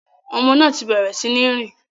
Ọmọ náà ti bẹrẹ sí ní rìn